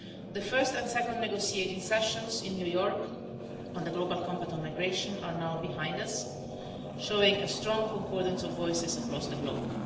The first and second negotiating sessions in New York on the Global Compact on Migration are now behind us, showing a strong concordance of voices across the globe.